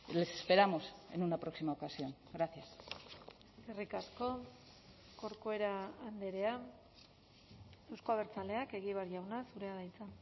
les esperamos en una próxima ocasión gracias eskerrik asko corcuera andrea euzko abertzaleak egibar jauna zurea da hitza